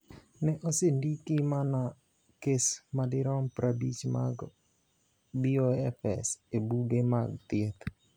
Ne osendiki mana kes madirom 50 mag BOFS e buge mag thieth.